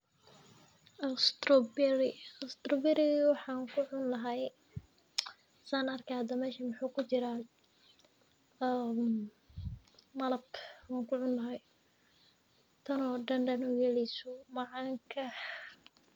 Strawberry, strawberry-ga waxaan kucun lahay san arkayo hada meshan muxu jiraah malab an kucun klahay tanoo dandan uyeleyso macanka.